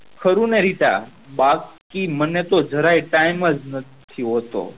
ખરું ને રીતા બાકી તો મેન જરાય time નથી હોતો